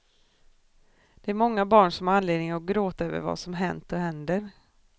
Det är många barn som har anledning att gråta över vad som hänt och händer.